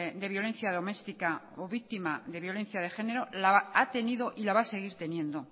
de violencia doméstica o víctima de violencia de género la ha tenido y la va a seguir teniendo